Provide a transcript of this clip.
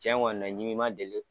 Tiɲɛ kɔni na ɲimi ma deli.